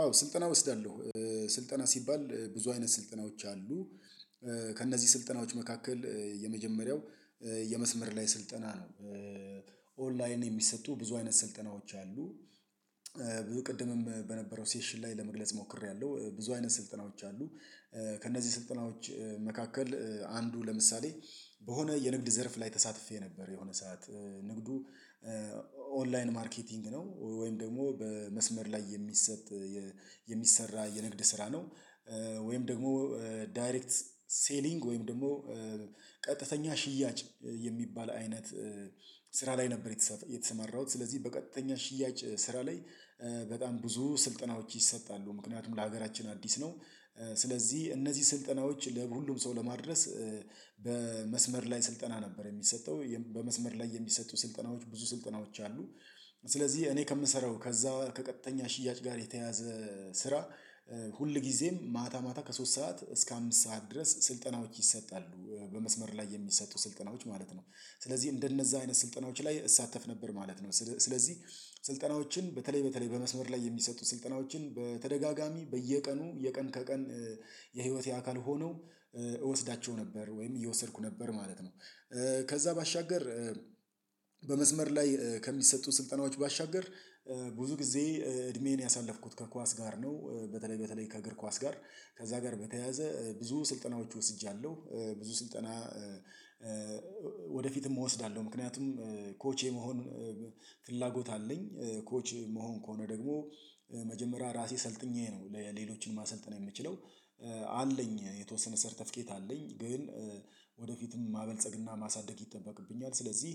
አዎ ስልጠና እወስዳለሁ። ስልጠና ሲባል ብዙ አይነት ስልጠናዎች አሉ ከእነዚህ ስልጠናዎች መካከል የመጀመሪያው የመስመር ላይ ስልጠና ነው። ኦንላይን የሚሰጡ ብዙ አይነት ስልጠናዎች አሉ። ብዙ ቅድምም በነበረው ሴሽን ላይ ለመግለጽ ሞክሬያለሁ ብዙ አይነት ስልጠናዎች አሉ። ከእነዚህ ስልጠናዎች መካከል አንዱ ለምሳሌ በሆነ የንግድ ዘርፍ ላይ ተሳትፌ ነበር የሆነ ሰዓት ንግዱ ኦንላይን ማርኬቲንግ ነው ወይም ደግሞ በመስመር ላይ የሚሰጥ የሚሰራ የንግድ ስራ ነው። ወይም ደግሞ ዳይሬክት ሴሊንግ ወይም ደግሞ ቀጥተኛ ሽያጭ የሚባል አይነት ስራ ላይ ነበር የተሰማራሁት። ስለዚህ በቀጥተኛ ሽያጭ ስራ ላይ በጣም ብዙ ስልጠናዎች ይሰጣሉ ምክንያቱም ለሀገራችን አዲስ ነው ስለዚህ እነዚህ ስልጠናዎች ለሁሉም ሰው ለማድረስ በመስመር ላይ ስልጠና ነበር የሚሰጠው በመስመር ላይ የሚሰጡ ስልጠናዎች ብዙ ስልጠናዎች አሉ። ስለዚህ እኔ ከምሰራው ከዛ ከቀጠኛ ሽያጭ ጋር የተያዘ ስራ ሁልጊዜም ማታ ማታ ከሶስት ሰዓት እስከ አምስት ሰዓት ድረስ ስልጠናዎች ይሰጣሉ በመስመር ላይ የሚሰጡ ስልጠናዎች ማለት ነው። ስለዚህ እንደነዛ አይነት ስልጠናዎች ላይ እሳተፍ ነበር ማለት ነው። ስለዚህ ስልጠናዎችን በተለይ በተለይ በመስመር ላይ የሚሰጡት ስልጠናዎችን በተደጋጋሚ በየቀኑ የቀን ከቀን የህይወቴ አካል ሆነው እወስዳቸው ነበር ወይም እየወሰድኩ ነበር ማለት ነው ከዛ ባሻገር በመስመር ላይ ከሚሰጡ ስልጠናዎች ባሻገር ብዙ ጊዜ እድሜዬን ያሳለፍኩት ከኳስ ጋር ነው በተለይ በተለይ ከእግር ኳስ ጋር ከዛ ጋር በተያያዘ ብዙ ስልጠናዎች ወስጃለሁ ብዙ ስልጠና ወደፊትም እወስዳለሁ ምክንያቱም ኮች የመሆን ፍላጎት አለኝ ኮች የምሆን ከሆነ ደግሞ መጀመሪያ ራሴ ሰልጥኜ ነው ለሌሎችን ማሰልጠን የምችለው አለኝ የተወሰነ ሰርተፊኬት አለኝ ግን ወደፊትም ማበልጸግና ማሳደግ ይጠበቅብኛል። ስለዚህ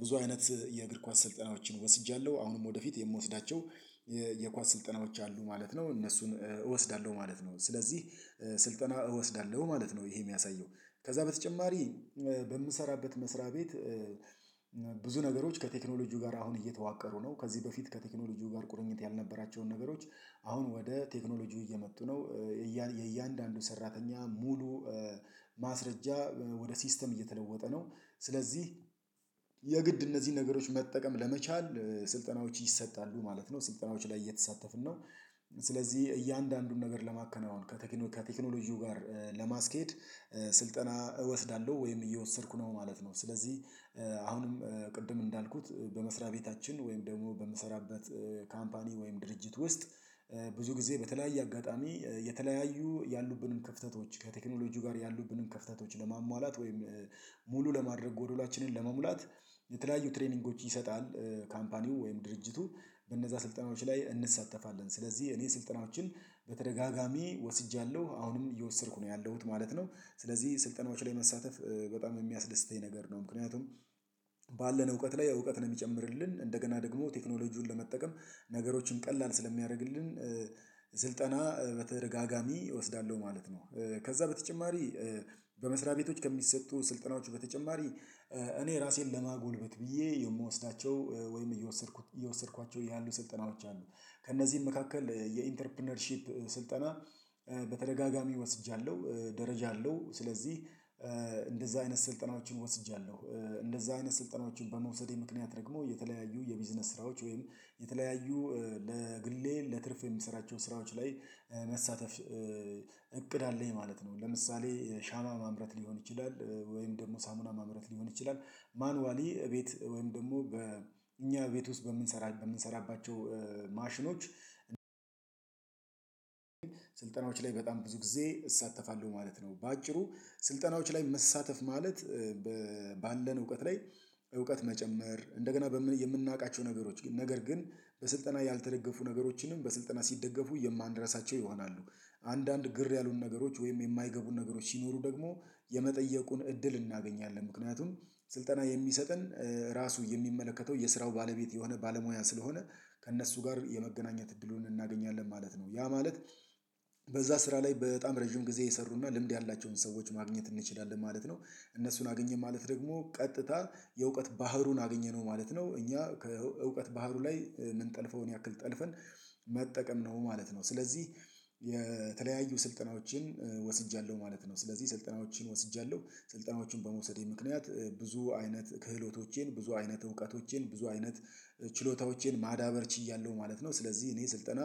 ብዙ አይነት የእግር ኳስ ስልጠናዎችን ወስጃለሁ አሁንም ወደፊት የምወስዳቸው የኳስ ስልጠናዎች አሉ ማለት ነው እነሱን እወስዳለሁ ማለት ነው። ስለዚህ ስልጠና እወስዳለሁ ማለት ነው ይሄ የሚያሳየው ከዛ በተጨማሪ በምሰራበት መስሪያ ቤት ብዙ ነገሮች ከቴክኖሎጂው ጋር አሁን እየተዋቀሩ ነው ከዚህ በፊት ከቴክኖሎጂው ጋር ቁርኝት ያልነበራቸውን ነገሮች አሁን ወደ ቴክኖሎጂው እየመጡ ነው የእያንዳንዱ ሰራተኛ ሙሉ ማስረጃ ወደ ሲስተም እየተለወጠ ነው ስለዚህ እነዚህ ነገሮች መጠቀም ለመቻል ስልጠናዎች ይሰጣሉ ማለት ነው ስልጠናዎች ላይ እየተሳተፍን ነው። ስለዚህ እያንዳንዱን ነገር ለማከናወን ከቴክኖ ከቴክኖሎጂው ጋር ለማስኬድ ስልጠና እወስዳለሁ ወይም እየወሰድኩ ነው ማለት ነው ስለዚህ አሁንም ቅድም እንዳልኩት በመስሪያ ቤታችን ወይም ደግሞ በምሰራበት ካምፓኒ ወይም ድርጅት ውስጥ ብዙ ጊዜ በተለያየ አጋጣሚ የተለያዩ ያሉብንን ክፍተቶች ከቴክኖሎጂው ጋር ያሉብንን ክፍተቶች ለማሟላት ወይም ሙሉ ለማድረግ ጎዶላችንን ለመሙላት የተለያዩ ትሬኒንጎች ይሰጣል ካምፓኒው ወይም ድርጅቱ በእነዛ ስልጠናዎች ላይ እንሳተፋለን ስለዚህ እኔ ስልጠናዎችን በተደጋጋሚ ወስጃለሁ አሁንም እየወሰድኩ ነው ያለሁት ማለት ነው። ስለዚህ ስልጠናዎች ላይ መሳተፍ በጣም የሚያስደስተኝ ነገር ነው ምክንያቱም ባለን እውቀት ላይ እውቀትን የሚጨምርልን እንደገና ደግሞ ቴክኖሎጂውን ለመጠቀም ነገሮችን ቀላል ስለሚያደርግልን ስልጠና በተደጋጋሚ እወስዳለሁ ማለት ነው። ከዛ በተጨማሪ በመስሪያ ቤቶች ከሚሰጡ ስልጠናዎቹ በተጨማሪ እኔ እራሴን ለማጎልበት ብዬ የምወስዳቸው ወይም እየወሰድኩት እየወሰድኳቸው ያሉ ስልጠናዎች አሉ ከእነዚህም መካከል የኢንተርፕረነርሺፕ ስልጠና በተደጋጋሚ ወስጃለሁ ደረጃ አለው ስለዚህ አይነት ስልጠናዎችን ወስጃለሁ እንደዛ አይነት ስልጠናዎችን በመውሰዴ ምክንያት ደግሞ የተለያዩ የቢዝነስ ስራዎች ወይም የተለያዩ ለግሌ ለትርፍ የምሰራቸው ስራዎች ላይ መሳተፍ እቅድ አለኝ ማለት ነው ለምሳሌ ሻማ ማምረት ሊሆን ይችላል ወይም ደግሞ ሳሙና ማምረት ሊሆን ይችላል ማኑዋሊ እቤት ወይም ደግሞ በእኛ ቤት ውስጥ በምንሰራባቸው ማሽኖች ስልጠናዎች ላይ በጣም ብዙ ጊዜ እሳተፋለሁ ማለት ነው። በአጭሩ ስልጠናዎች ላይ መሳተፍ ማለት ባለን እውቀት ላይ እውቀት መጨመር እንደገና የምናውቃቸው ነገሮች ነገር ግን በስልጠና ያልተደገፉ ነገሮችንም በስልጠና ሲደገፉ የማንረሳቸው ይሆናሉ። አንዳንድ ግር ያሉን ነገሮች ወይም የማይገቡን ነገሮች ሲኖሩ ደግሞ የመጠየቁን እድል እናገኛለን ምክንያቱም ስልጠና የሚሰጠን ራሱ የሚመለከተው የስራው ባለቤት የሆነ ባለሙያ ስለሆነ ከእነሱ ጋር የመገናኘት እድሉን እናገኛለን ማለት ነው ያ ማለት በዛ ስራ ላይ በጣም ረጅም ጊዜ የሰሩና ልምድ ያላቸውን ሰዎች ማግኘት እንችላለን ማለት ነው። እነሱን አገኘን ማለት ደግሞ ቀጥታ የእውቀት ባህሩን አገኘነው ማለት እኛ ከእውቀት ባህሩ ላይ ምንጠልፈውን ያክል ጠልፈን መጠቀም ነው ማለት ነው ስለዚህ የተለያዩ ስልጠናዎችን ወስጃለሁ ማለት ነው ስለዚህ ስልጠናዎችን ወስጃለሁ። ስልጠናዎችን በመውሰዴ ምክንያት ብዙ አይነት ክህሎቶቼን፣ ብዙ አይነት እውቀቶቼን፣ ብዙ አይነት ችሎታዎቼን ማዳበር ችያለሁ ማለት ነው ስለዚህ እኔ ስልጠና